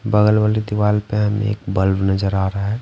बगल वाली दीवाल पे हमें एक बल्ब नजर आ रहा है।